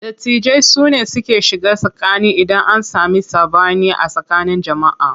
Dattijai sune suke shiga tsakani idan an sami saɓani a tsakanin jama'a.